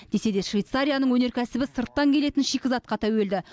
десе де швейцарияның өнеркәсібі сырттан келетін шикізатқа тәуелді